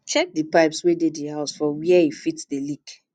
check di um pipes wey dey di house for were um e fit um dey leak